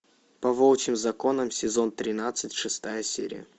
по волчьим законам сезон тринадцать шестая серия